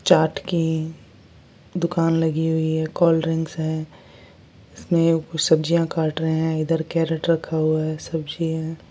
चाट की दुकान लगी हुई है कोल्ड ड्रिंक्स है इसमें कुछ सब्जियां काट रहे हैं इधर कैरेट रखा हुआ है सब्जी है।